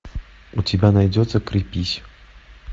у тебя найдется крепись